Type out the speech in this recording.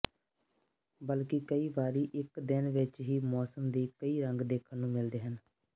ਬਲਕਿ ਕਈ ਵਾਰੀ ਇੱਕ ਦਿਨ ਵਿੱਚ ਹੀ ਮੌਸਮ ਦੇ ਕਈ ਰੰਗ ਦੇਖਣ ਨੂੰ ਮਿਲਦੇ ਹਨ